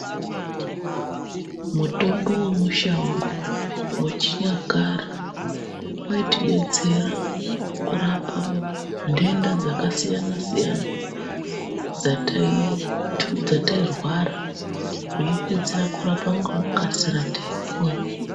Mutombo wemushango wechinyakare waitidetsera kurapa ndenda dzakasiyana siyana dzatairwara kuipinzira kurapa ngekukasira taipora.